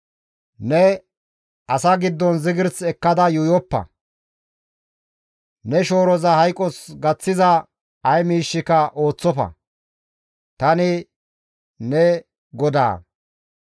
« ‹Neni asa giddon zigirs ekkada yuuyoppa; ne shooroza hayqos gaththiza ay miishshika ooththofa; tani ne GODAA.